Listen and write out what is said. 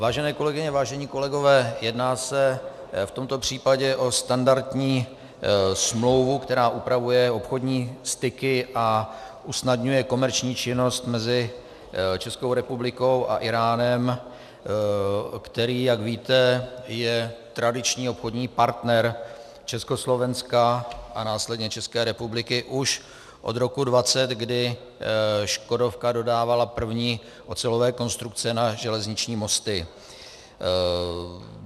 Vážené kolegyně, vážení kolegové, jedná se v tomto případě o standardní smlouvu, která upravuje obchodní styky a usnadňuje komerční činnost mezi Českou republikou a Íránem, který, jak víte, je tradiční obchodní partner Československa a následně České republiky už od roku 1920, kdy Škodovka dodávala první ocelové konstrukce na železniční mosty.